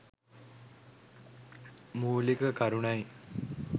මූලික කරුණයි